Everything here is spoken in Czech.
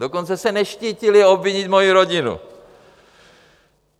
Dokonce se neštítili obvinit moji rodinu.